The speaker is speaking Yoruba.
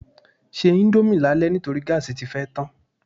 Se íńdómì lálẹ́ nítorí gáàsì tí fẹ́ tán.